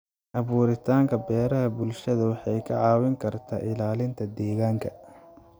Abuuritaanka beeraha bulshada waxay ka caawin kartaa ilaalinta deegaanka.